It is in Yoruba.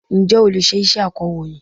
Ǹjẹ́ o lè ṣe iṣẹ́ akọ̀rọ̀yìn?